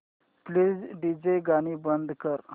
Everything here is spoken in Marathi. प्लीज डीजे गाणी बंद कर